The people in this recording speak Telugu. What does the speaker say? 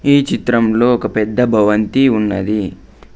ఈ చిత్రంలో ఒక పెద్ద భవంతి ఉన్నది.